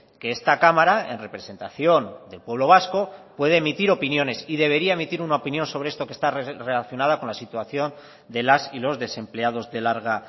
que esta cámara en representación del pueblo vasco puede emitir opiniones y debería emitir una opinión sobre esto que está relacionada con la situación de las y los desempleados de larga